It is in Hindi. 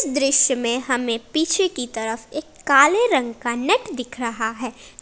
दृश्य में हमें पीछे की तरफ एक काले रंग का नेट दिख रहा है।